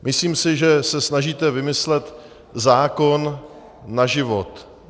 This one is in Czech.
Myslím si, že se snažíte vymyslet zákon na život.